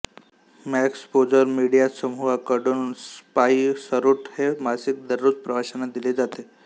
Maxposure media समूहाकडून Spiceroute हे मासिक दररोज प्रवाशांना दिले जाते